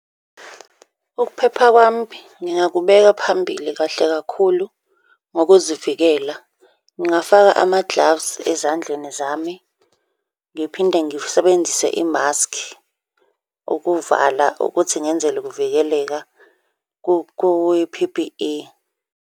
Ukuphepha kwami ngingaqhubeka phambili kahle kakhulu ngokuzivikela. Ngingafaka ama-gloves ezandleni zami, ngiphinde ngisebenzise imaskhi ukuvala ukuthi ngenzele ukuvikeleka kwi-P_P_E.